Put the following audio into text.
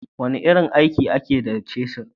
wane irin aiki ake da cisir?